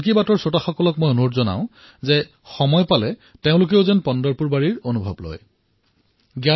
মন কী বাতৰ শ্ৰোতাসকলক মই আহ্বান কৰিম যে কেতিয়াবা সুবিধা পালে পণ্টৰপুৰৰ ৱাৰীৰ অনুভৱ নিশ্চয়কৈ লওক